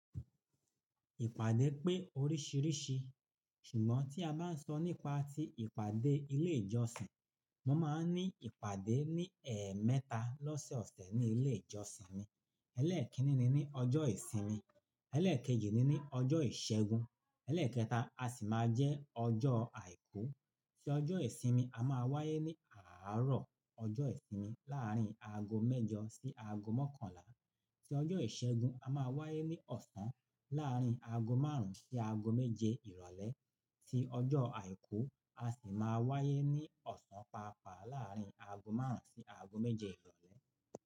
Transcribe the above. Ìpàdé pé oríṣìíríṣì, ṣùgbọ́n tí a bá ń sọ nípa ti ìpàdé ilé ìjọsìn, wọ́n máa ń ní ìpàdé ní ẹ̀ mẹ́ta lọ́sẹ̀ ọ̀sẹ̀ ní ilé ìjọsìn mi. Elé kinini ni ọjọ́ ìsinmi, elé kejì ni ní ọjọ́ ìṣẹ́gun, elé kẹta a sì máa jẹ́ ọjọ́ àìkú. Tí ọjọ́ ìsinmi a máa wáyé ní àárọ̀ ọjọ́ ìsinmi láàrín aago mẹ́jọ sí aago mọ́kànlá, tí ọjọ́ ìṣẹ́gun a máa wáyé ní ọ̀sán láàrín aago máàrún sí aago méje ìrọ̀lẹ́, tí ọjọ́ àìkú a sì máa wáyé ní ọ̀sán pàápàá láàrín aago máàrún sí aago méje ìrọ̀lẹ́.